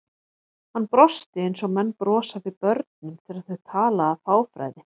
Hann brosti eins og menn brosa við börnum þegar þau tala af fáfræði.